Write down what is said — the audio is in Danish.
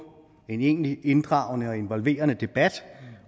en egentligt inddragende og involverende debat